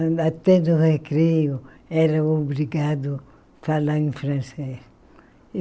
Até no recreio, era obrigado a falar em francês.